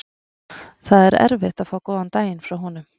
Það var erfitt að fá góðan daginn frá honum.